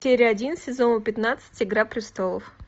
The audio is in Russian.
серия один сезона пятнадцать игра престолов